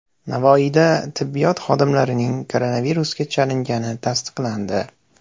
Navoiyda tibbiyot xodimlarining koronavirusga chalingani tasdiqlandi.